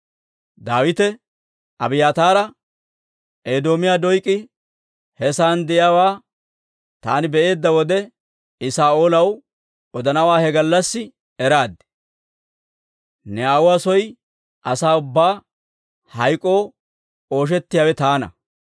Daawite Abiyaataara, «Edoomiyaa Doyk'i he sa'aan de'iyaawaa taani be'eedda wode, I Saa'oolaw odanawaa he gallassi eraad. Ne aawuwaa soo asaa ubbaa hayk'oo ooshettiyaawe taana.